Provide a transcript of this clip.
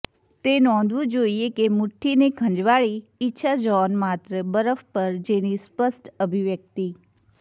તે નોંધવું જોઇએ કે મુઠ્ઠીને ખંજવાળી ઇચ્છા જ્હોન માત્ર બરફ પર જેની સ્પષ્ટ અભિવ્યક્તિ